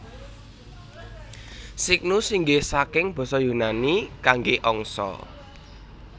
Cygnus inggih saking basa Yunani kangge angsa